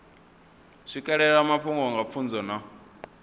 swikelela mafhungo nga pfunzo na